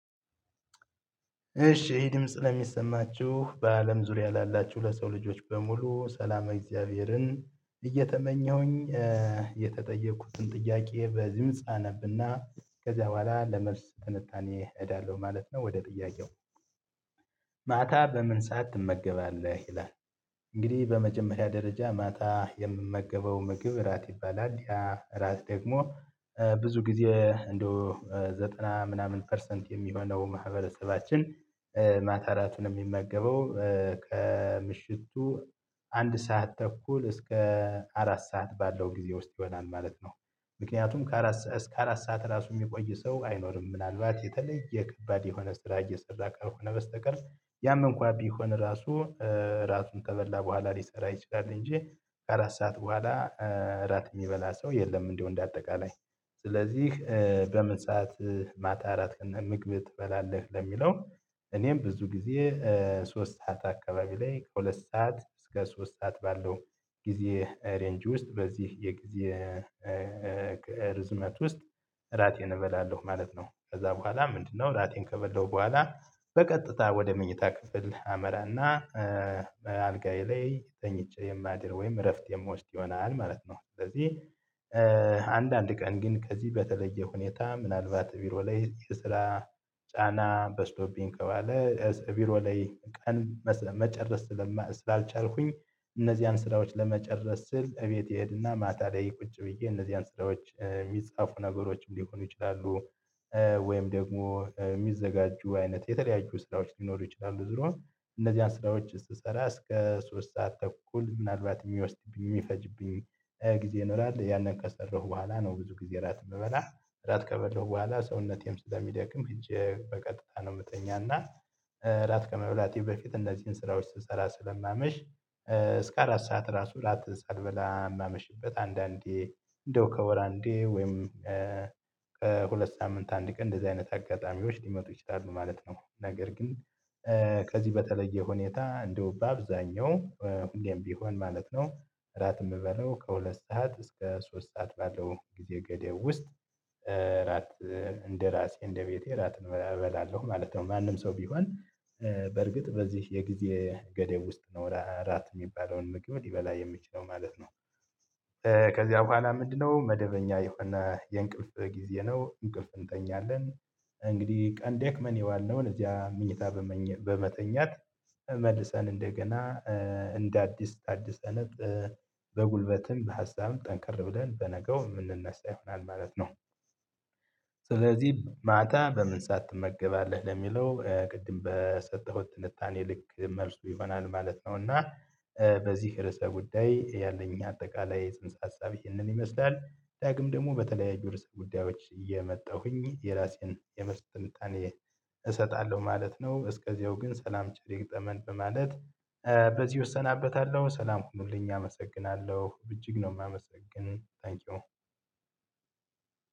እሺ ይህ ድምጽ ለሚሰማችሁ በአለም ዙሪያ ላላችሁ ለሰው ልጆች በሙሉ ሰላመ እግዚአብሔርን እየተመኘሁኝ የተጠየቅኩትን ጥያቄ በድምጽ አነብና ከዚያ በኋላ ለመልስ ትንታኔ እሄዳለሁ ማለት ነው ወደ ጥያቄው? ማታ በምን ሰዓት ትመገባለህ ይላል እንግዲህ በመጀመሪያ ደረጃ ማታ የምመገበው ምግብ እራት ይባላል ያ እራት ደግሞ ብዙ ጊዜ እንደው ዘጠና ምናምን ፐርሰንት የሚሆነው ማህበረሰባችን ማታ እራቱን የሚመገበው ከምሽቱ አንድ ሰዓት ተኩል እስከ አራት ሰዓት ባለው ጊዜ ውስጥ ይሆናል ማለት ነው። ምክንያቱም ከአራት እስከ አራት ሰዓት ራሱ የሚቆይ ሰው አይኖርም ምናልባት የተለየ ከባድ የሆነ ስራ እየሰራ ከሆነ በስተቀር ያም እንኳን ቢሆን ራሱ ራቱን ከበላ በኋላ ሊሰራ ይችላል እንጂ አራት ሰዓት በኋላ እራት የሚበላ ሰው የለም። እንደው እንደ አጠቃላይ ስለዚህ በምን ሰዓት ማታ እራት ምግብ ትበላለህ ለሚለው? እኔም ብዙ ጊዜ ሶስት ሰዓት አካባቢ ላይ ከሁለት ሰዓት እስከ ሶስት ሰዓት ባለው ጊዜ ሬንጅ ውስጥ በዚህ የጊዜ ርዝመት ውስጥ እራቴን እበላለሁ ማለት ነው። ከዛ በኋላ ምንድነው? እራቴን ከበላሁ በኋላ በቀጥታ ወደ መኝታ ክፍል አመራና በአልጋዬ ላይ ተኝቼ የማደር ወይም እረፍት የምወስድ ይሆናል ማለት ነው። ስለዚህ ቀን ግን ከዚህ በተለየ ሁኔታ ምናልባት ቢሮ ላይ የስራ ጫና በስቶብኝ ከዋለ ቢሮ ላይ ቀን መጨረስ ስላልቻልኩኝ እነዚህን ስራዎች ለመጨረስ ስል እቤት እሄድና ማታ ላይ ቁጭ ብዬ እነዚህን ስራዎች የሚጻፉ ነገሮች ሊሆኑ ይችላሉ። ወይም ደግሞ የሚዘጋጁ አይነት የተለያዩ ስራዎች ሊኖሩ ይችላሉ ዙሮ እነዚህን ስራዎች ስሰራ እስከ ሶስት ሰዓት ተኩል ምናልባት የሚወስድብኝ የሚፈጅብኝ ጊዜ ይኖራል። ያንን ከሰራሁ በኋላ ነው። ብዙ ጊዜ እራት የምበላ እራት ከበላሁ በኋላ ሰውነቴም ስለሚደክም ሄጄ በቀጥታ ነው ምተኛው። እና እራት ከመብላቴ በፊት እነዚህን ስራዎች ስሰራ ስለማመሽ እስከ አራት ሰዓት ራሱ እራት ሳልበላ የማመሽበት አንዳንዴ እንደው ከወር አንዴ ወይም ከሁለት ሳምንት አንድ ቀን እንደዚህ አይነት አጋጣሚዎች ሊመጡ ይችላሉ ማለት ነው። ነገር ግን ከዚህ በተለየ ሁኔታ እንደው በአብዛኛው እንዴም ቢሆን ማለት ነው። እራት የምበለው ከሁለት ሰዓት እስከ ሶስት ሰዓት ባለው ጊዜ ገደብ ውስጥ እራት እንደራሴ እንደቤቴ እራት እበላለሁ ማለት ነው። ማንም ሰው ቢሆን በርግጥ በዚህ የጊዜ ገደብ ውስጥ ነው እራት የሚባለውን ምግብ ሊበላ የሚችለው ማለት ነው። ከዚያ በኋላ ምንድነው? መደበኛ የሆነ የእንቅልፍ ጊዜ ነው እንቅልፍ እንተኛለን። እንግዲህ ቀን ደክመን የዋልነውን እዚያ መኝታ በመተኛት መልሰን እንደገና እንደ አዲስ ታዲሰን በጉልበትም በሀሳብም ጠንክር ብለን በነገው የምንነሳ ይሆናል ማለት ነው። ስለዚህ ማታ በምን ሰዓት ትመገባለህ ለሚለው ቅድም በሰጠሁት ትልታኔ ልክ መልሱ ይሆናል ማለት ነው። እና በዚህ ርዕሰ ጉዳይ ያለኝ አጠቃላይ ፅንስ ሀሳብ ይህንን ይመስላል። ዳግም ደግሞ በተለያዩ ርዕሰ ጉዳዮች እየመጣሁኝ የራሴን የመልስ ትንታኔ እሰጣለሁ ማለት ነው። እስከዚያው ግን ሰላም ቸር ይግጠመን በማለት በዚህ እሰናበታለሁ። ሰላም ሁኑልኝ አመሰግናለሁ። እጅግ ነው የማመሰግነው ታንኪዩ።